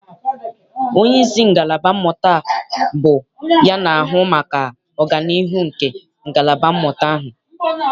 Onyeisi ngalaba mmụta bụ ya na-ahụ maka ọganiihu nke ngalaba mmụta ahụ.